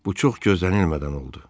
Bu çox gözlənilmədən oldu.